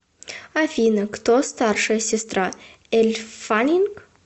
афина кто старшая сестра эль фаннинг